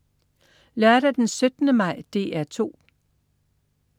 Lørdag den 17. maj - DR 2: